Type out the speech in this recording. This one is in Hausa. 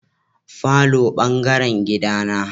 Falo bangaren gida na.